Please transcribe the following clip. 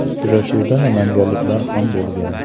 Uchrashuvda namanganliklar ham bo‘lgan.